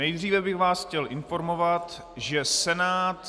Nejdříve bych vás chtěl informovat, že Senát...